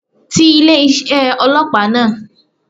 Ti ilé isé ọlọ́pàá náà